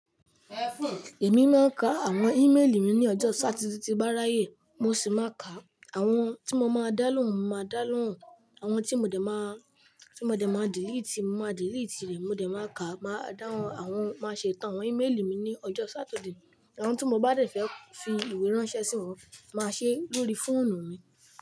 Èmi máa ń ka àwọn ímélì mi ní ọjọ́ Sátidé tí n bá ráyè. Mo sì máa ka àwọn tí mo máa dálohun mo màá dálohún, àwọn tí mo dẹ̀ máa, tí mo dẹ̀ máa delete, mo máa delete rẹ̀. Mo dẹ̀ máa ka, máa dáhùn àwọn, máa ṣe tán àwọn ímélì mi ní ọjọ́ Sátidé. Àwọn tí mo bá dẹ̀ fẹ́ fi ìwé ránṣẹ́ sí wọn, màá ṣe é lórí fóònù mi.